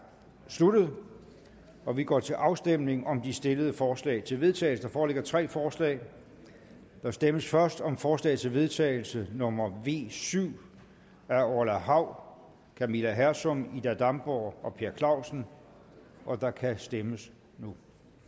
sluttet og vi går til afstemning om de stillede forslag til vedtagelse der foreligger tre forslag der stemmes først om forslag til vedtagelse nummer v syv af orla hav camilla hersom ida damborg og per clausen og der kan stemmes nu